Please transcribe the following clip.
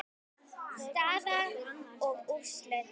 Staða og úrslit.